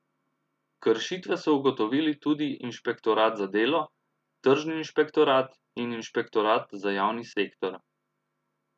Kršitve so ugotovili tudi inšpektorat za delo, tržni inšpektorat in inšpektorat za javni sektor.